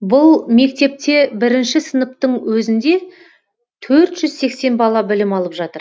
бұл мектепте бірінші сыныптың өзінде төрт жүз сексен бала білім алып жатыр